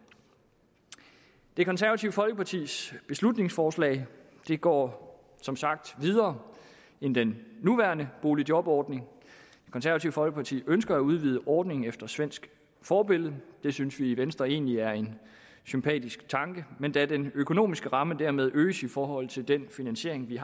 det konservative folkepartis beslutningsforslag går som sagt videre end den nuværende boligjobordning det konservative folkeparti ønsker at udvide ordningen efter svensk forbillede det synes vi i venstre egentlig er en sympatisk tanke men da den økonomiske ramme dermed øges i forhold til den finansiering vi